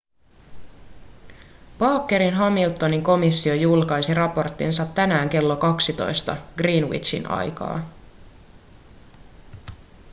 bakerin-hamiltonin komissio julkaisi raporttinsa tänään kello 12 greenwichin aikaa